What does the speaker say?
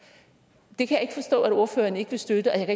det kan jeg ikke forstå at ordføreren ikke vil støtte og jeg